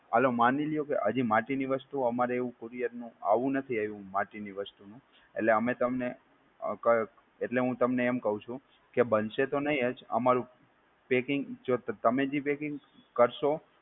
હાલો માનીલ્યો કે હજી માટી ની વસ્તુ અમારે એવું courier નું આવું નથી આવ્યું માટીની વસ્તુ નું એટલે અમે તમને અ ક એટલે હું તમને એમ કવ છું કેબનશે તો નય જ અમારું packing જો તમે જે packing કરશો